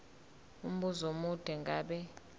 umbuzo omude ngabe